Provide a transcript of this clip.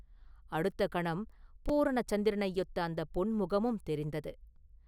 அடுத்த கணம் பூரண சந்திரனையொத்த அந்தப் பொன் முகமும் தெரிந்தது.